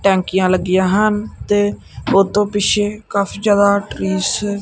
ਟੈਂਕੀਆਂ ਲੱਗੀਆਂ ਹਨ ਤੇ ਉਤੋਂ ਪਿੱਛੇ ਕਾਫੀ ਜਿਆਦਾ ਟਰੀਸ --